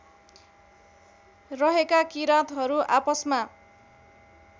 रहेका किरातहरू आपसमा